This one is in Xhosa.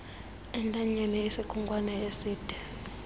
entanyeni isikhonkwane eside